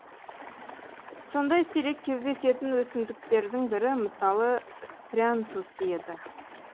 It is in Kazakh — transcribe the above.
сондай сирек кездесетін өсімдіктердің бірі мысалы спрянтус еді